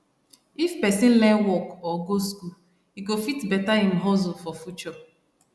if person learn work or go school e go fit better im hustle for future